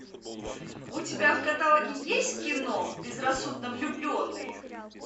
у тебя в каталоге есть кино безрассудно влюбленные